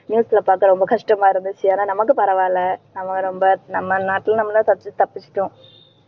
news ல பாக்க ரொம்ப கஷ்டமா இருந்துச்சு ஏன்னா நமக்கு பரவாயில்லை. நம்ம ரொம்ப நம்ம நாட்டுல நம்மதான் தப்பி~ தப்பிச்சிட்டோம்.